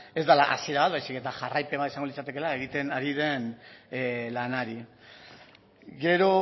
ez dela hasiera bat baizik eta jarraipen bat izango litzatekela egiten ari den lanari gero